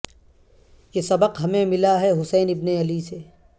یہ سبق ہمیں ملا ہے حسین ابن علی سے